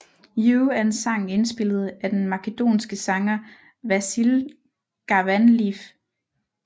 You er en sang indspillet af den makedonske sanger Vasil Garvanliev